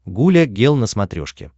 гуля гел на смотрешке